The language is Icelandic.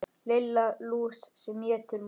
Lilla lús sem étur mús.